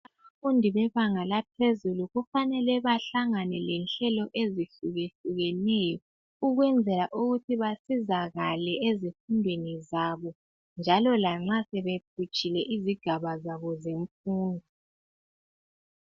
Abafundi bebanga laphezulu kufanele bahlangane lenhlelo ezihlukehlukeneyo ukwenzela ukuthi basizakale ezifundweni zabo njalo lanxa sebephutshile izigaba zabo zemfundo.